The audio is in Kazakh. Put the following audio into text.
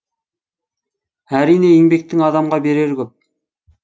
әрине еңбектің адамға берері көп